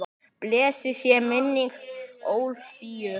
Blessuð sé minning Ólafíu.